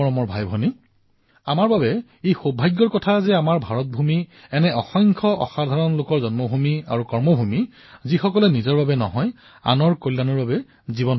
মোৰ মৰমৰ ভাতৃভগ্নীসকল এয়া আমাৰ সকলোৰে বাবে সৌভাগ্যৰ কথা যে আমাৰ ভাৰতবৰ্ষ এনে কিছুমান অসাধাৰণ ব্যক্তিৰ জন্মভূমি আৰু কৰ্মভূমি যিয়ে নিজৰ বাবে নহয় আনৰ কল্যাণৰ বাবে নিজৰ জীৱন সমৰ্পিত কৰিছে